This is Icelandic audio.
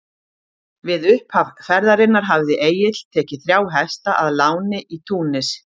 Við upphaf ferðarinnar hafði Egill tekið þrjá hesta að láni í Túnis.